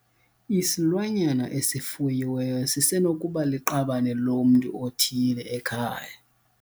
Isilwanyana esifuyiweyo sisenokuba liqabane lomntu othile ekhaya.